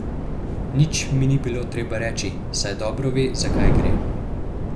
Nič mi ni bilo treba reči, saj dobro ve, za kaj gre.